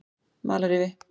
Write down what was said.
Malarrifi